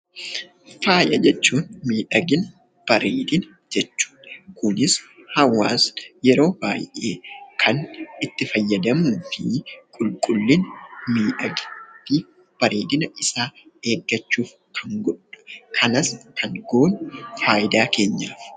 Fayaa jechuun; miidhaagina, bareedina jechuudha. kunis hawaasni yeroo baay'ee Kan itti faayyadamuufi qulqullina miidhagina fi bareedina isaa eegaachuuf Kan godhudha. kanas Kan goonu faayidaa keenyaafi.